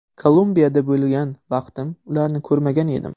Kolumbiyada bo‘lgan vaqtim ularni ko‘rmagan edim.